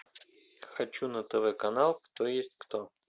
хочу на тв канал кто есть кто